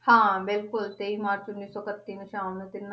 ਹਾਂ ਬਿਲਕੁਲ ਤੇਈ ਮਾਰਚ ਉੱਨੀ ਸੌ ਇਕੱਤੀ ਨੂੰ ਸ਼ਾਮ ਨੂੰ ਤਿੰਨਾਂ